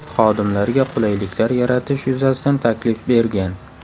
Xodimlarga qulayliklar yaratish yuzasidan taklif bergan.